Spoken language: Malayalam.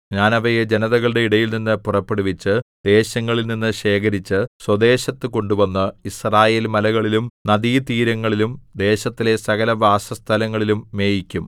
ഞാൻ അവയെ ജനതകളുടെ ഇടയിൽനിന്ന് പുറപ്പെടുവിച്ച് ദേശങ്ങളിൽ നിന്നു ശേഖരിച്ച് സ്വദേശത്ത് കൊണ്ടുവന്ന് യിസ്രായേൽമലകളിലും നദീതീരങ്ങളിലും ദേശത്തിലെ സകലവാസസ്ഥലങ്ങളിലും മേയിക്കും